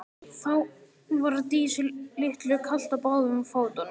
Þá var Dísu litlu kalt á báðum fótum.